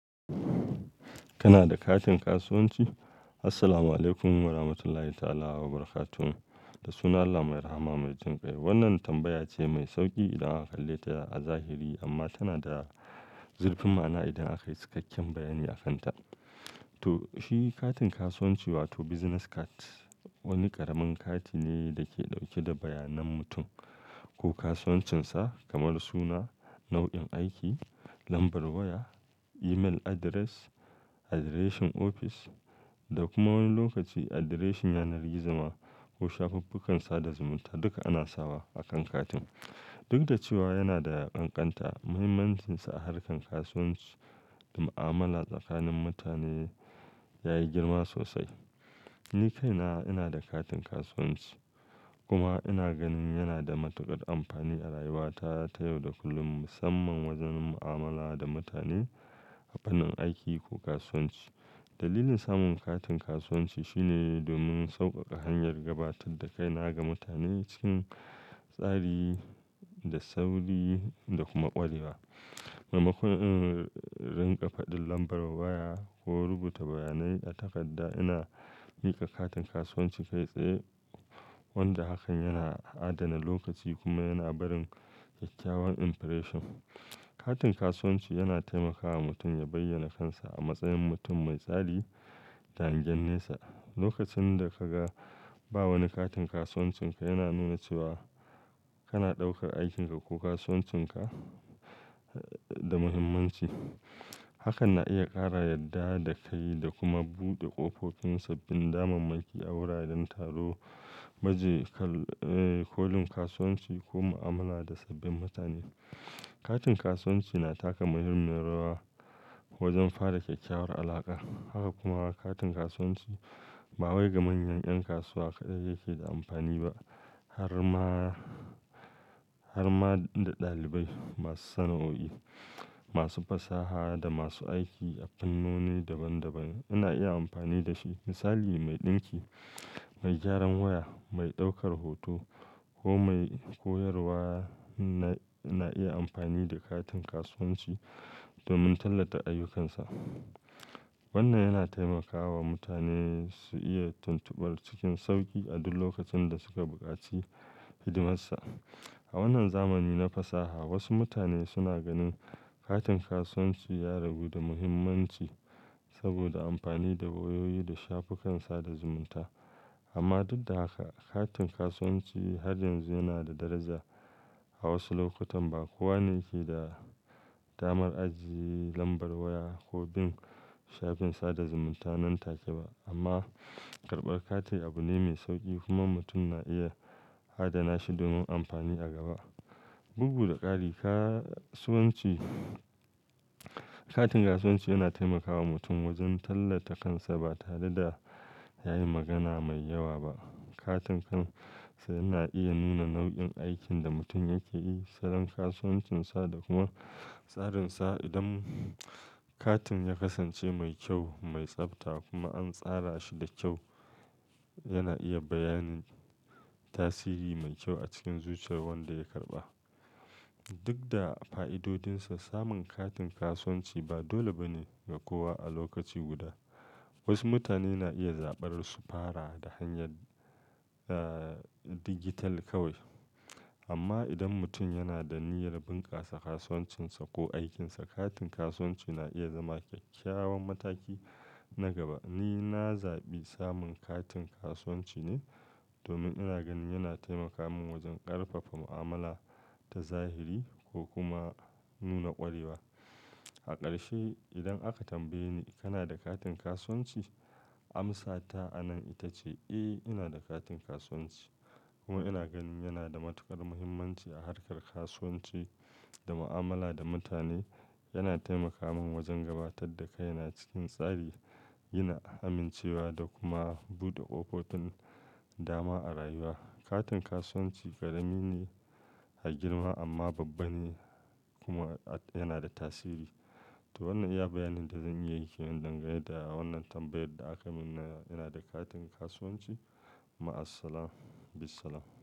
Kana da katin kasuwanci? Assalamualaikum warahmatullahi ta'ala wa barakatuh. Da sunan Allah mai rahama mai jin kai. Wannan tambaya ce mai sauki idan aka kalle ta a zahiri amma tana da zurfin ma'ana idan aka yi cikakken bayani akanta. To shi katin kasuwanci wato business card wani ƙaramin kati ne da ke ɗauke da bayanan mutum ko kasuwancinsa kamar suna, nau'in aiki, lambar waya, email address, address ɗin ofis da kuma wani lokaci address ɗin yanar gizo ma ko shafuffukan sada zumunta duka ana sawa akan katin. Duk da cewa yana da ƙanƙanta, mahimmancinsa a harkar kasuwanci da mu'amala tsakanin mutane yayi girma sosai. Ni kaina ina da katin kasuwanci kuma ina ganin yana da matuƙar amfani a rayuwa ta yau da kullum musamman wajen mu'amala da mutane a wannan aiki ko kasuwanci. Dalilin samun katin kasuwanci shine domin sauƙaƙa hanyar gabatar da kaina ga mutane cikin tsari da sauri da kuma ƙwarewa. Mamaikon in riƙa faɗin lambar waya ko rubuta bayanai a takarda ina yi wa katin kasuwanci kai tsaye wanda hakan yana adana lokaci kuma yana barin kyakkyawan impression. Katin kasuwanci yana taimakawa mutum ya bayyana kansa a matsayin mutum mai tsari da ange nesa. Lokacin da ka ga ba wani katin kasuwancinka yana nuna cewa kana ɗaukar aikinka ko kasuwancinka da muhimmanci. Hakan na iya ƙara yadda da kai da kuma buɗe ƙofofin sabbin damammaki a wuraren taro, baje kolin kasuwanci ko mu'amala da sabbin mutane. Katin kasuwanci na taka muhimmiyar rawa wajen fara kyakkyawar alaƙa. Haka kuma katin kasuwanci ba wai ga manyan ƴan kasuwa kaɗai yake da amfani ba har ma, har ma da ɗalibai masu sana'oi, masu fasaha da masu aiki a fannoni daban daban suna iya amfani da shi. Misali mai ɗinki, mai gyaran waya, mai ɗaukar hoto ko mai koyarwa na iya amfani da katin kasuwanci domin tallata ayyukansa. Wannan yana taimakawa mutane su iya tuntuɓar cikin sauƙi a duk lokacin da suka buƙaci hidimarsa. A wannan zamani na fasaha wasu mutane suna ganin katin kasuwanci ya ragu da muhimmanci saboda amfani da wayoyi da shafukan sada zumunta amma duk da haka katin kasuwanci har yanzu yana da daraja. A wasu lokutan ba kowa ne ke da damar ajiye lambar waya ko bin shafin sada zumunta nan take ba amma karɓar kati abu ne mai sauƙi kuma mutum na iya adana shi domin amfani a gaba. Bugu da ƙari kasuwanci, katin kasuwanci yana taimakawa mutum wajen tallata kansa ba tare da yayi magana mai yawa ba. Katin kansa yana iya nuna nau'in aikin da mutum yake yi, salon kasuwancinsa da kuma tsarin sa. Idan katin ya kasance mai kyau, mai tsafta kuma an tsara shi da kyau yana iya bayanin ta siri mai kyau a cikin zuciyar wanda ya karɓa. Duk da fa'idodinsa samun katin kasuwanci ba dole ba ne ga kowa a lokaci guda. Wasu mutane na iya zaɓar su fara da hanyar, ah, digital kawai amma idan mutum yana da niyyar bunƙasa kasuwancinsa ko aikinsa katin kasuwanci na iya zama kyakkyawan mataki na gaba. Ni na zaɓi samun katin kasuwanci ne domin ina ganin yana taimaka min wajen ƙarfafa mu'amala ta zahiri ko kuma nuna ƙwarewa. A ƙarshe idan aka tambaye ni "Kana da katin kasuwanci?" amsa ta anan ita ce "Eh ina da katin kasuwanci kuma ina ganin yana da matuƙar muhimmanci a harkar kasuwanci da mu'amala da mutane. Yana taimaka min wajen gabatar da kaina cikin tsari, yin amincewa da kuma buɗe ƙofofin dama a rayuwa". Katin kasuwanci ƙarami ne a girma amma babba ne kuma yana da tasiri. To wannan iya bayanin da zan iya yi ke wannan gayan da wannan tambayar da aka min "ina da katin kasuwanci?" Maassalam, bissalam.